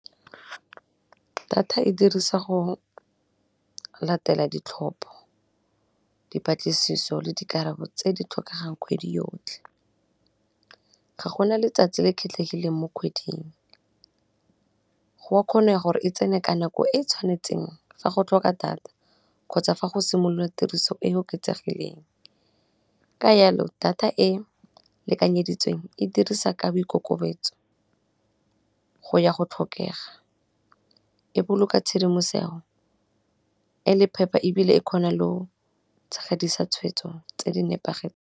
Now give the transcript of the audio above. Data e dirisa go latela ditlhopho, dipatlisiso le dikarabo tse di tlhokegang kgwedi yotlhe, ga gona letsatsi le khetlhehileng mo kgweding, goa kgone gore e tsene ka nako e e tshwanetseng fa go tlhoka data kgotsa fa go simolola tiriso e e oketsegileng, ka yalo data e e lekanyeditsweng e dirisa , ka boikokobetso go ya go tlhokega, e boloka tshedimoseho e le phepa ebile e khona leo tshegedisa tshwetso tse di nepagetseng.